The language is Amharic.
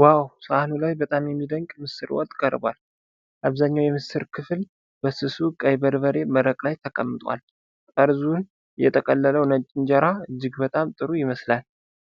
ዋው! ሳህኑ ላይ በጣም የሚደንቅ ምስር ወጥ ቀርቧል። አብዛኛው የምስር ክፍል በስሱ ቀይ በርበሬ መረቅ ላይ ተቀምጧል። ጠርዙን የጠቀለለው ነጭ እንጀራ እጅግ በጣም ጥሩ ይመስላል።